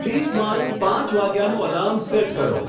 please મારું પાંચ વાગ્યાનું એલાર્મ સેટ કરો